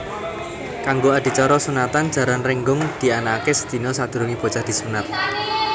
Kanggo adicara sunatan Jaran Rénggong dianakaké sedina sadurungé bocah disunat